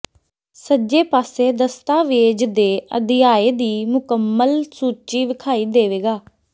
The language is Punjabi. ਸੱਜੇ ਪਾਸੇ ਦਸਤਾਵੇਜ਼ ਦੇ ਅਧਿਆਇ ਦੀ ਮੁਕੰਮਲ ਸੂਚੀ ਵੇਖਾਈ ਦੇਵੇਗਾ